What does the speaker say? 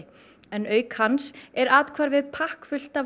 en auk hans er athvarfið pakkfullt af